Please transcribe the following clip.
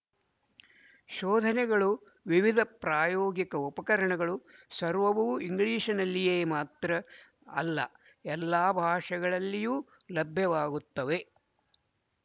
ಶೋಧನೆಗಳು ವಿವಿಧ ಪ್ರಾಯೋಗಿಕ ಉಪಕರಣಗಳು ಸರ್ವವೂ ಇಂಗ್ಲಿಶಿನಲ್ಲಿಯೇ ಮಾತ್ರ ಅಲ್ಲ ಎಲ್ಲಾ ಭಾಷೆಗಳಲ್ಲಿಯೂ ಲಭ್ಯವಾಗುತ್ತವೆ